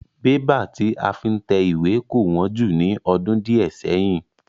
Bébà tí a fi ń tẹ ìwé kò wón jù ní ọdún diẹ séyìn.